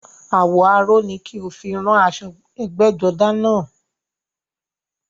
Àwọ̀ aró ni kí o fi rán aṣọ ẹgbẹ́jọdá náà